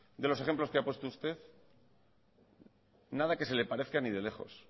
de los ejemplos que ha puesto usted nada que se le parezca ni de lejos